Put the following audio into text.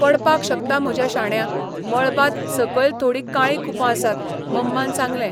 पडपाक शकता म्हज्या शाण्या, मळबांत सकयलथोडीं काळीं कुपां आसात, मम्मान सांगलें.